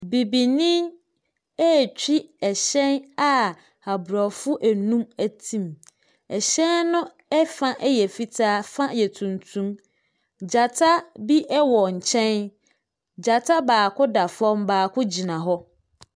Bibini retwi hyɛn a aborɔfo nnum te mu. Hyɛn no fa yɛ fitaa, fa yɛ tuntum. Gyata bi wɔ nkyɛn. Gyata baako da fam, baako gyina hɔ.